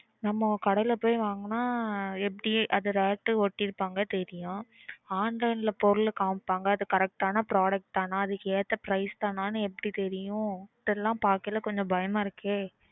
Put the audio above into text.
நம்மோ கடைல போய் வாங்குனா எப்படி அது rate ஒட்டிருபாங்க தெரியும். online ல பொருள காமிப்பாங்க அது correct ஆன product தானா? அதுக்கேத்த price தானான்னு எப்படி தெரியும்? இதையெல்லாம் பார்க்கையில கொஞ்சம் பயமா இருக்கே.